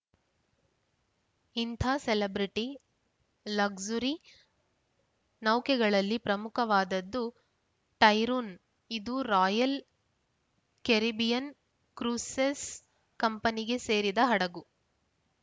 ಇಂಥಾ celebrity luxury ನೌಕೆಗಳಲ್ಲಿ ಪ್ರಮುಖವಾದದ್ದು ಟೈರೂನ್‌ ಇದು ರಾಯಲ್‌ ಕೆರಿಬಿಯನ್‌ ಕ್ರೂಸೆಸ್‌ ಕಂಪೆನಿಗೆ ಸೇರಿದ ಹಡಗು